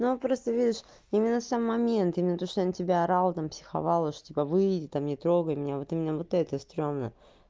но просто видишь именно сам мент именно то что я на тебя орала там психовал уже типа выйди там не трогай меня вот у меня вот это стрёмно